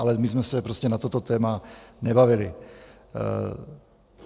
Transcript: Ale my jsme se prostě na toto téma nebavili.